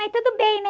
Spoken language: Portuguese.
Mas tudo bem, né?